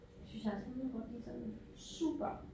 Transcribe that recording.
Synes jeg altså ikke mine kort de er sådan super